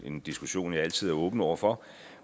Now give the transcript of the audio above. en diskussion jeg altid er åben over for